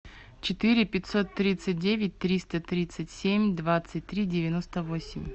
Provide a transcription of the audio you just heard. четыре пятьсот тридцать девять триста тридцать семь двадцать три девяносто восемь